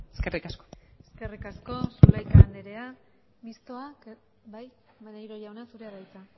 eskerri asko eskerrik asko zulaika andrea mistoa bai maneiro jauna zurea da hitza